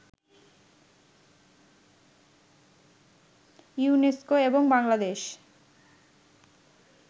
UNESCO এবং বাংলাদেশ